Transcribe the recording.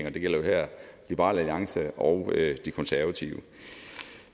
og det gælder jo her liberal alliance og de konservative